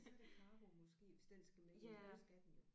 Så er det cargo måske hvis den skal med og det skal den jo